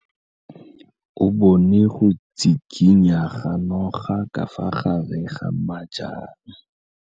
O bone go tshikinya ga noga ka fa gare ga majang.